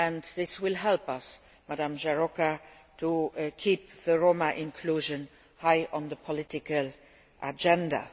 This will help us, Ms Járóka, to keep Roma inclusion high on the political agenda.